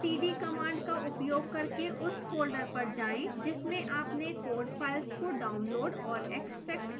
cd command का उपयोग करके उस folder पर जाएं जिसमें आपने code files को downloaded और extracted किया है